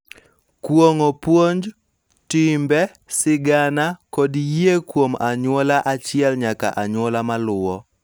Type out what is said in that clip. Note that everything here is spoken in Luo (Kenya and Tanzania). Kuong�o puonj, timbe, sigana, kod yie kuom anyuola achiel nyaka anyuola maluwo.